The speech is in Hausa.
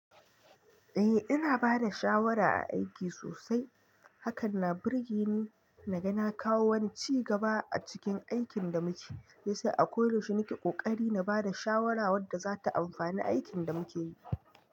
Eh ina bada shawara a aiki sosai, hakan na burge ni naga na kawo wani ci gaba a cikin aikin da muke, shi yasa a koyaushe nake ƙoƙari na bada shawara wadda zata amfani a aikin da muke yi.